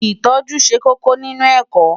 Ìtọ́jú ṣe kókó nínú ẹ̀kọ́.